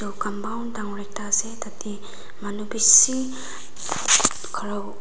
compund dangor ekta ase tate manu bisii khara--